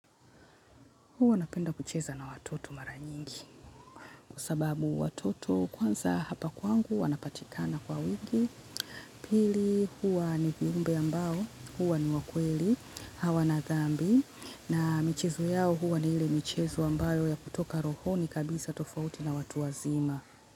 Huwa napenda kucheza na watoto mara nyingi kwa sababu watoto kwanza hapa kwangu wanapatikana kwa wingi pili huwa ni viumbe ambao huwa ni wa kweli hawana thambi na michezo yao huwa ni ile michezo ambayo ya kutoka rohoni kabisa tofauti na watu wazima.